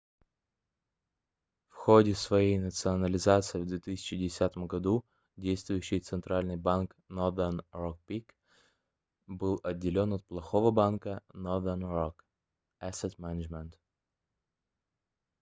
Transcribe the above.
в ходе своей национализации в 2010 году действующий центральный банк northern rock plc был отделён от плохого банка northern rock asset management